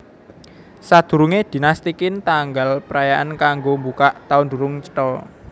Sadurungé Dinasti Qin tanggal prayaan kanggo mbukak taun durung cetha